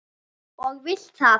Og vilt hvað?